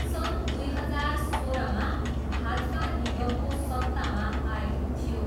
सन् दुई हजार सोह्रमा भाजपा निगमको सत्तामा आएको थियो।